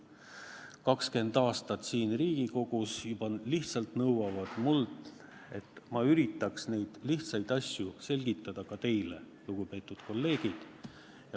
Need juba 20 aastat siin Riigikogus lihtsalt nõuavad mult, et ma üritaks neid lihtsaid asju selgitada ka teile, lugupeetud kolleegid.